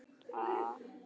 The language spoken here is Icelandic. Höskuldur: Hvernig þá?